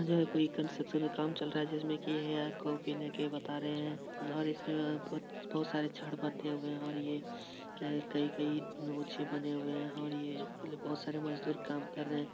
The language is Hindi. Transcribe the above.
यहाँ कोई कन्ट्रशन का काम चल रहा है जिसमें की यह कॉपी लेके बता रहे है और इसमें बहुत सारे छड़ बंधे हुए है और यह कई कई नोच के बने हुए है और यह बहुत सारे मजदूर काम कर रहे है।